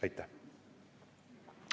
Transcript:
Aitäh!